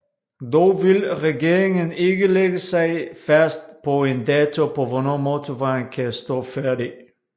Dog vil regeringen ikke lægge sig fast på en dato på hvornår motorvejen kan stå færdig